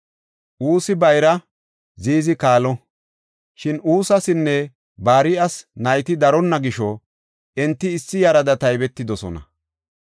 Usi bayraa, Ziizi kaalo. Shin Usasinne Bar7as nayti daronna gisho enti issi yarada taybetidosona.